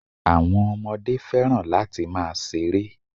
Àwọn Ọmọdé fẹ́ràn láti máa ṣeré